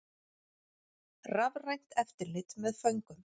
Rafrænt eftirlit með föngum